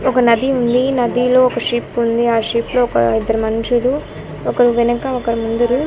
ఒక నది ఉంది. నదిలో ఒక షిప్ ఉంది. ఆ షిప్ లో ఒక ఇద్దరు మనుషులు ఒకరు వెనక ఒకరు ముందురు --